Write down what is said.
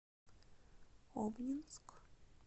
обнинск